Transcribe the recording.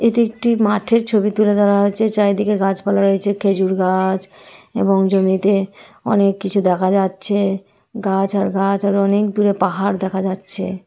এটি একটি মাঠের ছবি তুলে ধরা হয়েছে। চারিদিকে গাছপালা রয়েছে । খেজুর গাছ এবং জমিতে অনেক কিছু দেখা যাচ্ছে গাছ আর গাছ আর অনেক দূরে পাহাড় দেখা যাচ্ছে।